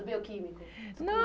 Do Bioquímico.